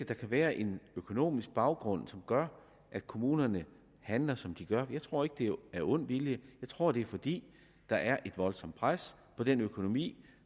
der kan være en økonomisk baggrund som gør at kommunerne handler som de gør jeg tror ikke det er af ond vilje jeg tror det er fordi der er et voldsomt pres på den økonomi